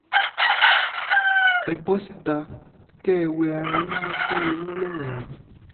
ẹ bọ́ síta kẹ́ ẹ wẹ ara yín mọ́ pé irọ́ lọ̀rọ̀ yìí